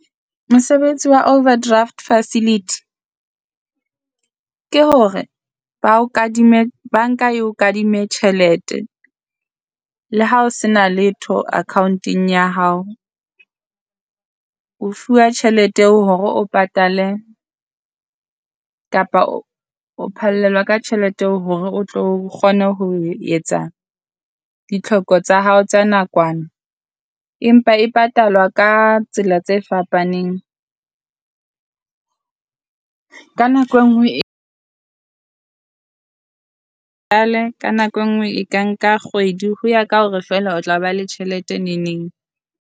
Mosebetsi wa overdraft Facility ke hore ba o kadime banka e o kadimme tjhelete le hao sena letho account-eng ya hao. O fuwa tjhelete eo hore o patale kapa o phallelwa ka tjhelete hore o tlo kgone ho etsa ditlhoko tsa hao tsa nakwana, empa e patalwa ka tsela tse fapaneng ka nako e nngwe e ka nako e nngwe e ka nka kgwedi ho ya ka hore feela o tla ba le tjhelete ne neng.